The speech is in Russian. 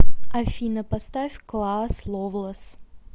афина поставь клаас ловлос